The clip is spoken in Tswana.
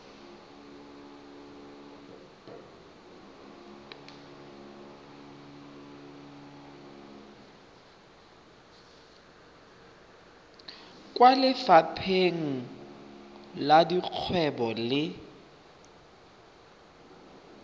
kwa lefapheng la dikgwebo le